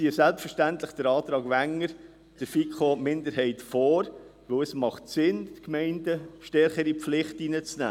– Wir ziehen selbstverständlich den Antrag Wenger jenem der FiKo-Minderheit vor, weil es sinnvoll ist, die Gemeinden stärker in die Pflicht zu nehmen.